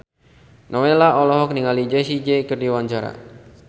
Nowela olohok ningali Jessie J keur diwawancara